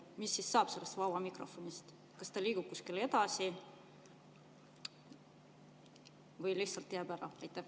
Mis siis saab sellest vabast mikrofonist: kas ta liigub kuskile edasi või lihtsalt jääb ära?